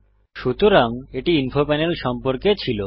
সুতরাং এটি info panel সম্পর্কে ছিল